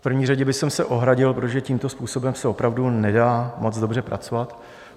V první řadě bych se ohradil, protože tímto způsobem se opravdu nedá moc dobře pracovat.